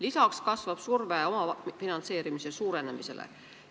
Lisaks kasvab surve omafinantseerimise suurenemisele.